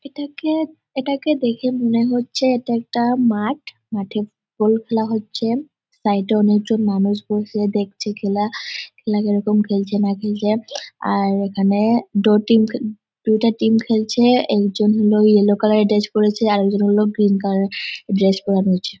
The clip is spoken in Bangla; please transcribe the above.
এটা কে এটা কে দেখে মনে হচ্ছে এটা একটা মাঠ মাঠে বল খেলা হচ্ছে সাইড - এ অনেক মানুষ বসে দেখছে খেলা খেলা কিরকম খেলছে না খেলছে আর এখানে দো টীম দোটা টিম খেলছে একজন হলো ইয়েলো কালার - এর ড্রেস পরেছে আর একজন হলো গ্রীন কালার এর ড্রেস পরে রয়েছে।